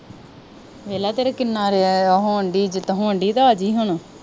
ਵੇਖਲਾ ਤੇਰਾ ਕਿੰਨਾ ਉਹ ਹੋਣ ਦੀ ਇੱਜ਼ਤ ਹੋਣ ਦੀ ਤੇ ਆ ਜੀ ਹੁਣ